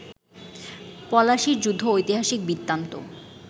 পলাশির যুদ্ধ ঐতিহাসিক বৃত্তান্ত